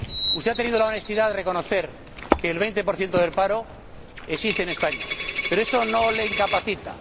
Usted ha tenido la honestidad de reconocer que el 20 del paro existe en España, pero eso no le incapacita.